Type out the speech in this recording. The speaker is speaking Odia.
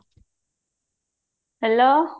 hello